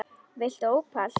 Viltu ópal?